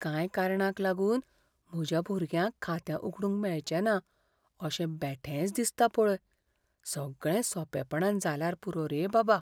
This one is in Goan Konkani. कांय कारणांक लागून म्हज्या भुरग्याक खातें उगडूंक मेळचें ना अशें बेठेंच दिसता पळय, सगळें सोंपेपणान जाल्यार पुरो बाबा!